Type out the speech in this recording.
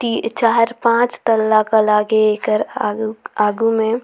ती चार पांच तल्ला का लागे एकर आगु मे--